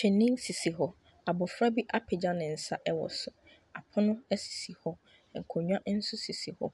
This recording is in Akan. Twene bi sisi hɔ. Abofra bi apegya ne nsa ɛwɔ so. Apono esi hɔ. Akonnwa nso sisi hɔ.